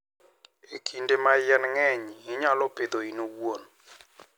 E kinde ma yien ng'eny, inyalo pidhogi in iwuon.